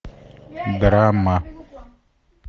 драма